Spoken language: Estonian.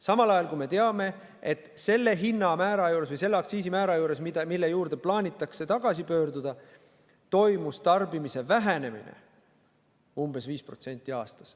Samal ajal me teame, et selle aktsiisimäära juures, mille juurde plaanitakse tagasi pöörduda, toimus tarbimise vähenemine umbes 5% aastas.